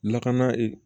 Lakana ee